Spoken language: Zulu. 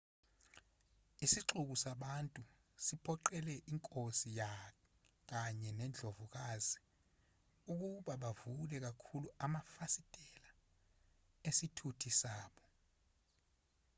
isixuku sabantu siphoqelele inkosi kanye nendlovukazi ukuba bavule kakhulu amafasitela esithuthi sabo